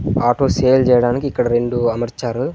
Auto sale చేయడానికి ఇక్కడ రెండు అమర్చారు.